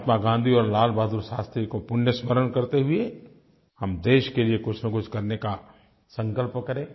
महात्मा गाँधी और लाल बहादुर शास्त्री को पुण्य स्मरण करते हुए हम देश के लिए कुछनकुछ करने का संकल्प करें